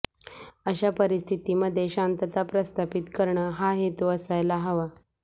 अशा परिस्थितीमध्ये शांतता प्रस्थापित करणं हा हेतू असायला हवा